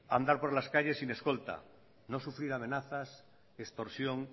andar por las calles sin escolta no sufrir amenazas extorsión